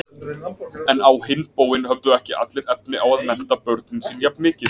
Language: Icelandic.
En á hinn bóginn höfðu ekki allir efni á að mennta börnin sín jafn mikið.